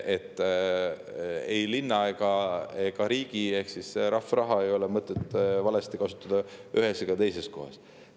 Ei linna ega riigi ehk rahva raha ei ole mõtet valesti kasutada ei ühes ega teises kohas.